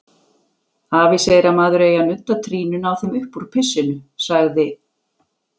Afi segir að maður eigi að nudda trýninu á þeim uppúr pissinu, sagði